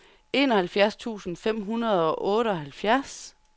enoghalvfjerds tusind fem hundrede og otteoghalvfjerds